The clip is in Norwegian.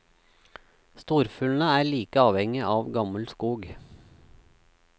Storfuglene er like avhengige av gammel skog.